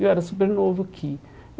Eu era super novo aqui.